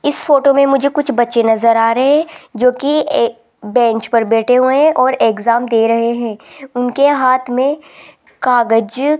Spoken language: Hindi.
इस फोटो में मुझे कुछ बच्चे नजर आ रहें जोकी एक बेंच पर बैठे हुए हैं और एग्जाम दे रहे हैं उनके हाथ में कागज --